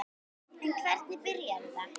En hvernig byrjaði þetta?